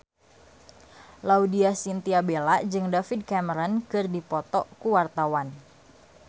Laudya Chintya Bella jeung David Cameron keur dipoto ku wartawan